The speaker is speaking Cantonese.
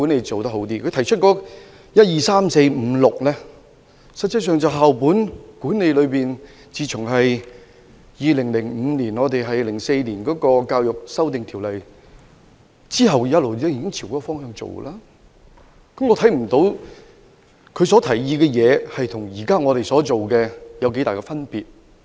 他在原議案提出的第一至第六點，實際上就是自2005年起根據《2004年教育條例》實施校本管理以來的做法，我不認為他的建議與現時的做法有很大差別。